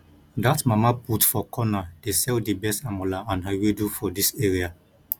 dat mama put for corner dey sell di best amala and ewedu for dis area